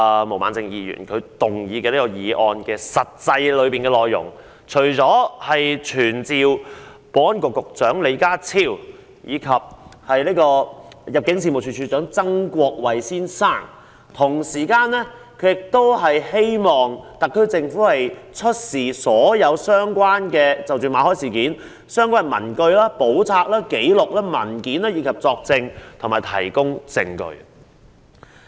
毛孟靜議員動議的議案，除傳召保安局局長李家超及入境事務處處長曾國衞外，同時要求特區政府出示所有與馬凱事件相關的文據、簿冊、紀錄或文件，以及作證和提供證據。